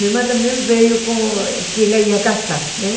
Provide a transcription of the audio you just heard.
Minha irmã também veio com... que ela ia casar, né?